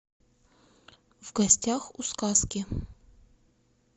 в гостях у сказки